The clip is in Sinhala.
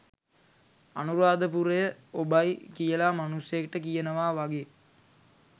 අනුරාධපුරය 'ඔබයි' කියලා මනුස්සයෙක්ට කියනවා වගේ